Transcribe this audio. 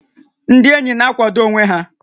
Ndị ényì na-àkwàdó onwé ha